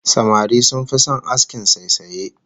Samari sun fi son askin saisaye